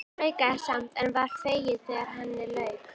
Hún þraukaði samt en var fegin þegar henni lauk.